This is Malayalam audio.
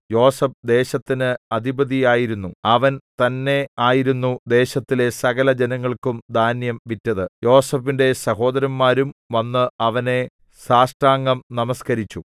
യോസേഫ് ദേശത്തിന് അധിപതിയായിരുന്നു അവൻ തന്നെയായിരുന്നു ദേശത്തിലെ സകല ജനങ്ങൾക്കും ധാന്യം വിറ്റത് യോസേഫിന്റെ സഹോദരന്മാരും വന്ന് അവനെ സാഷ്ടാംഗം നമസ്കരിച്ചു